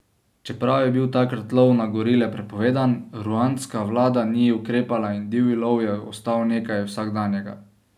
Čeprav je bil takrat lov na gorile prepovedan, ruandska vlada ni ukrepala in divji lov je ostal nekaj vsakdanjega.